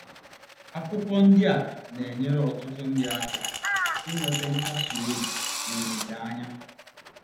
Akwụkwọ ndị a na-enyere ọtụtụ ndị aka inweta nkasi obi nkasi obi na olileanya.